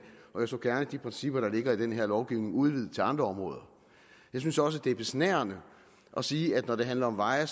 og jeg så gerne de principper der ligger i den her lovgivning udvidet til andre områder jeg synes også det er besnærende at sige at når det handler om veje